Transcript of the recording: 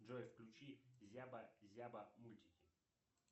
джой включи зяба зяба мультики